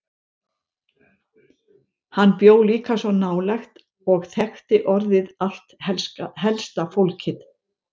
Hann bjó líka svo nálægt og þekkti orðið allt helsta fólkið.